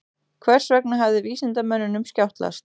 Hvers vegna hafði vísindamönnunum skjátlast?